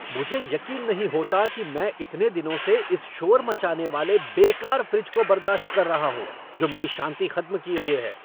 मुझे यकीन नहीं होता कि मैं इतने दिनों से इस शोर मचाने वाले, बेकार फ़्रिज को बर्दाश्त कर रहा हूँ जो मेरी शांति खत्म किए हुए है!